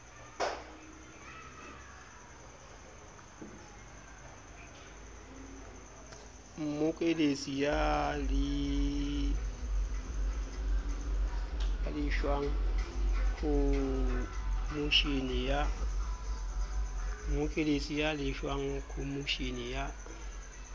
mmokelletsi ya lefshwang khomoshene ya